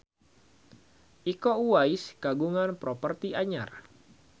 Iko Uwais kagungan properti anyar